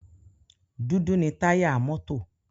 Dúdú ni táyà mọ́tò.